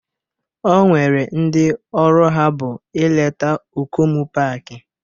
E nwere ndị ọrụ ha bụ ileta okomu paaki